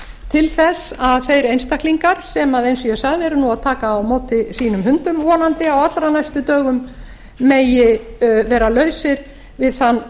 til þess að þeir einstaklingar sem eins og ég sagði eru nú að taka á móti sínum hundum vonandi á allra næstu dögum megi vera lausir við þann